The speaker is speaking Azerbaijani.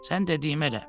Sən dediyimi elə.